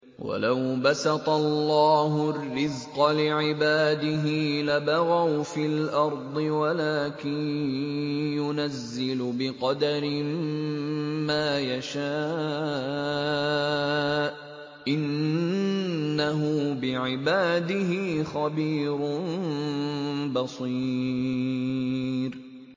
۞ وَلَوْ بَسَطَ اللَّهُ الرِّزْقَ لِعِبَادِهِ لَبَغَوْا فِي الْأَرْضِ وَلَٰكِن يُنَزِّلُ بِقَدَرٍ مَّا يَشَاءُ ۚ إِنَّهُ بِعِبَادِهِ خَبِيرٌ بَصِيرٌ